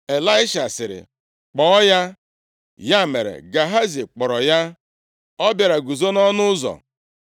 Ịlaisha sịrị, “Kpọọ ya.” Ya mere, Gehazi kpọrọ ya, ọ bịara guzo nʼọnụ ụzọ.